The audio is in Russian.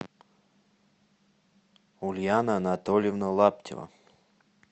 ульяна анатольевна лаптева